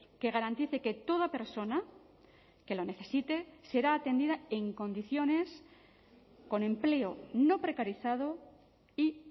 que garantice que toda persona que lo necesite será atendida en condiciones con empleo no precarizado y